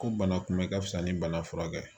Ko bana kunbɛ ka fisa ni bana furakɛ ye